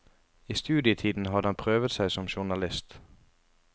I studietiden hadde han prøvet seg som journalist.